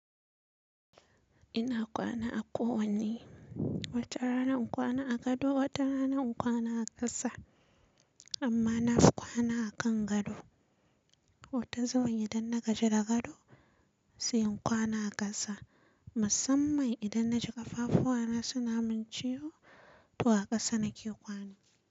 Ina kwana a kowanne, watarana in kwana a gado, watarana in kwana a ƙasa amma nafi kwana akan gado. Wata zuwan idan na gaji da gado sai in kwana a ƙasa musamman idan na ji ƙafafu wa na suna mun ciwo to a ƙasa nake kwana.